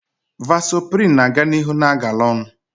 Vasoprin na-aga n'ihu na-agala onu